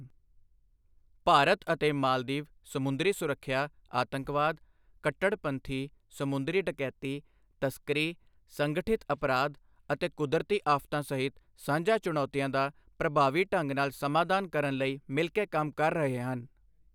ਭਾਰਤ ਅਤੇ ਮਾਲਦੀਵ ਸਮੁੰਦਰੀ ਸੁਰੱਖਿਆ, ਆਤੰਕਵਾਦ, ਕੱਟੜਪੰਥੀ, ਸਮੁੰਦਰੀ ਡਕੈਤੀ, ਤਸਕਰੀ, ਸੰਗਠਿਤ ਅਪਰਾਧ ਅਤੇ ਕੁਦਰਤੀ ਆਫ਼ਤਾਂ ਸਹਿਤ ਸਾਂਝਾ ਚੁਣੌਤੀਆਂ ਦਾ ਪ੍ਰਭਾਵੀ ਢੰਗ ਨਾਲ ਸਮਾਧਾਨ ਕਰਨ ਲਈ ਮਿਲ ਕੇ ਕੰਮ ਕਰ ਰਹੇ ਹਨ।